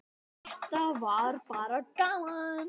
Þetta var bara gaman.